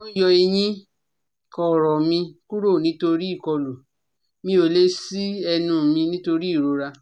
Wọ́n yọ eyín kọrọ́ mi kúrò nítorí ìkọlù, mi ò lè ṣí ẹnu mi nítorí ìrora